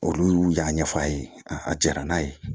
Olu y'a ɲɛfɔ a ye a jara n'a ye